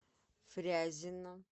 фрязино